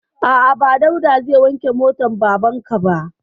A'a, ba Dauda ba ne zai wanke motan baban ka ba.